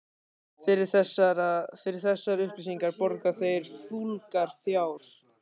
Fyrir þessar upplýsingar borga þeir fúlgur fjár.